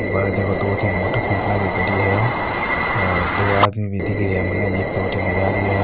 बाहरे देखो दो तीन मोटरसाइकिला भी खड़ी है और दो आदमी भी दिख रिया है मने एक तो अठीने जा रियो है।